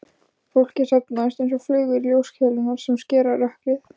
Fólkið safnast einsog flugur í ljóskeilurnar sem skera rökkrið.